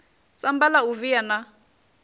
samba la u via na